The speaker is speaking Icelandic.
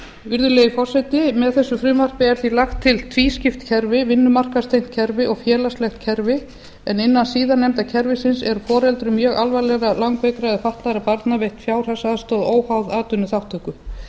virðulegi forseti með þessu frumvarpi er því lagt til tvískipt kerfi vinnumarkaðstengt kerfi og félagslegt kerfi en innan síðarnefnda kerfisins er foreldrum mjög alvarlega langveikra eða fatlaðra barna veitt fjárhagsaðstoð óháð atvinnuþátttöku